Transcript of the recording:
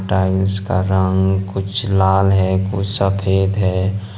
Tiles का रंग कुछ लाल है कुछ सफेद है।